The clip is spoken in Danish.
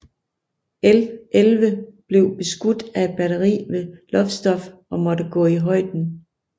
L 11 blev beskudt af et batteri ved Lowestoft og måtte gå i højden